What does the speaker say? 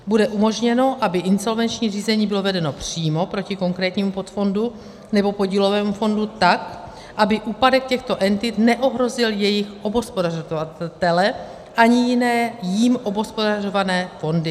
Bude umožněno, aby insolvenční řízení bylo vedeno přímo proti konkrétnímu podfondu nebo podílovému fondu tak, aby úpadek těchto entit neohrozil jejich obhospodařovatele ani jiné jím obhospodařované fondy.